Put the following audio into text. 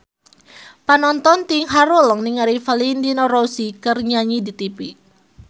Panonton ting haruleng ningali Valentino Rossi keur nyanyi di tipi